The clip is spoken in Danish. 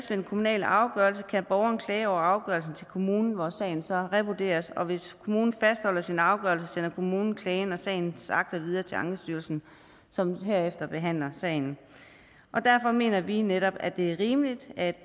den kommunale afgørelse kan borgeren klage over afgørelsen til kommunen hvor sagen så revurderes og hvis kommunen fastholder sin afgørelse sender kommunen klagen og sagens akter videre til ankestyrelsen som herefter behandler sagen og derfor mener vi netop at det er rimeligt at